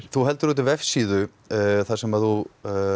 þú heldur úti vefsíðu þar sem þú